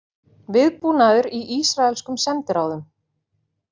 Viðbúnaður í ísraelskum sendiráðum